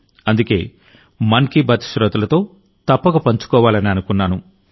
అందుకే మన్ కీ బాత్ శ్రోతలతో తప్పక పంచుకోవాలని అనుకున్నాను